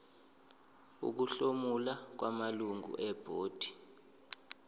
ukuhlomula kwamalungu ebhodi